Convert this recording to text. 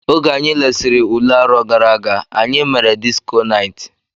Oge anyi lesiri ụle arọ gara aga, anyị mere disko night.